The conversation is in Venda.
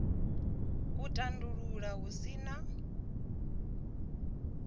u tandulula hu si na